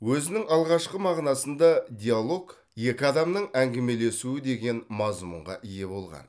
өзінің алғашқы мағынасында диалог екі адамның әңгімелесуі деген мазмұнға ие болған